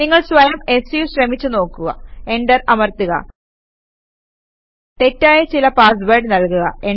നിങ്ങൾ സ്വയം സു ശ്രമിച്ച് നോക്കുക എന്റർ അമർത്തുക തെറ്റായ ചില പാസ് വേഡ് നല്കുക